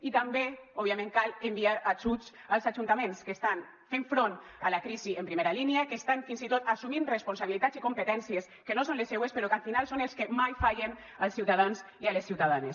i també òbviament cal enviar ajuts als ajuntaments que estan fent front a la crisi en primera línia que estan fins i tot assumint responsabilitats i competències que no són les seues però que al final són els que mai fallen als ciutadans i a les ciutadanes